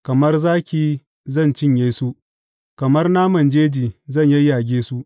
Kamar zaki zan cinye su; kamar naman jeji zan yayyage su.